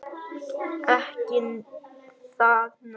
Ekki það nei.